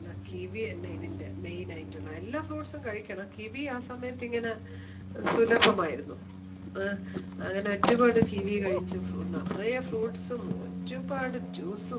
kiwi തന്നെ ഇതിന്റെ main ആയിട്ടുള്ള എല്ലാ fruit ഉം കഴിക്കണം kiwi ആ സമയത് ഇങ്ങനെ സുലഭം ആയിരുന്നു അങ്ങനെ ഓരുപാട് kiwi കഴിച്ചു നിറയെ fruit ഉം ഒരുപാട് juice ഉം